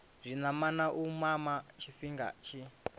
zwinamana u mama tshifhinga tshi